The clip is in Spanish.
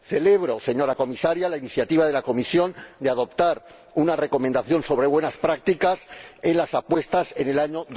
Celebro, señora Comisaria, la iniciativa de la Comisión de adoptar una recomendación sobre buenas prácticas en las apuestas en el año